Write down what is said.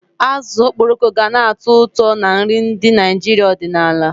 Azụ okporoko gana-atọ ụtọ na nri ndị Naijiria ọdịnala